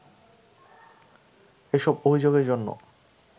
এসব অভিযোগের জন্য